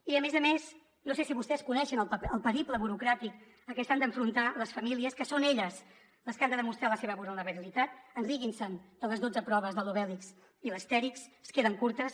i a més a més no sé si vostès coneixen el periple burocràtic a què s’han d’enfrontar les famílies que són elles les que han de demostrar la seva vulnerabilitat riguin se’n de les dotze proves de l’obèlix i l’astèrix es queden curtes